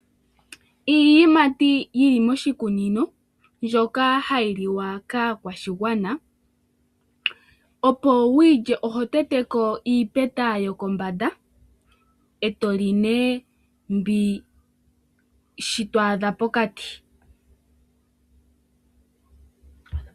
Iiyimati yili moshikunino mbyoka hayi liwa kakwashigwana. Opo wuyilye oho teteko iipeta yokombanda, eto li ne shi to adha pokati.